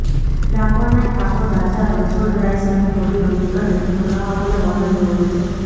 ડાકોરના ઠાકોર રાજા રણછોડરાય સાથે હોળી રમવી અને તેનો લહાવો લેવો અનન્ય હોય છે